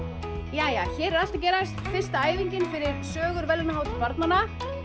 jæja hér er allt að gerast fyrsta æfingin fyrir sögur verðlaunahátíð barnanna